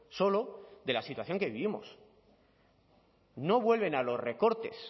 solo de la situación que vivimos no vuelven a los recortes